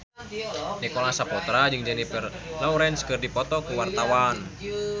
Nicholas Saputra jeung Jennifer Lawrence keur dipoto ku wartawan